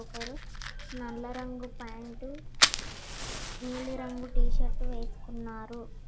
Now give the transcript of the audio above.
ఒకరు నల్ల రంగు పాయింటు నీలిరంగు టీషర్టు వేసుకున్నారు.